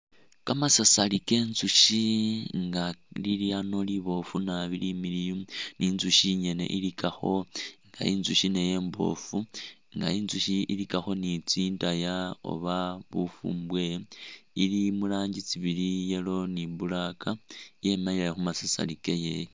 Kamasasari ke nzushi nga lili ano liboofu naabi limiliyu ni nzushi ni nzushi inyene i likakho nga inzushi nayo imbofu nga inzushi i likakho ni tsindaya oba bufumbwe, ili mu rangi tsi bili yellow ni black, yemile khumasasari keye.